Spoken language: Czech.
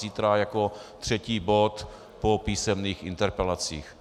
Zítra jako třetí bod po písemných interpelacích.